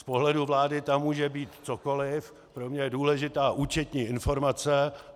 Z pohledu vlády tam může být cokoliv, pro mě je důležitá účetní informace.